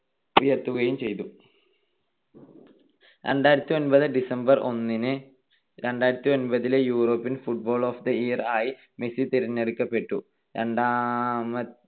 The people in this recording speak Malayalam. ആക്കി ഉയർത്തുകയും ചെയ്തു. രണ്ടായിരത്തിഒൻപത് December ഒന്നിന് രണ്ടായിരത്തിഒൻപതിലെ European footballer of the year ആയി മെസ്സി തിരഞ്ഞെടുക്കപ്പെട്ടു. രണ്ടാമ